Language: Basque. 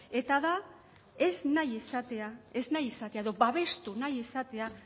eta da ez nahi izatea ez nahi izatea edo babestu nahi izatea